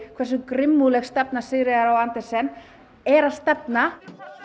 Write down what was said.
hversu grimmúðleg stefna Sigríðar á Andersen er að stefna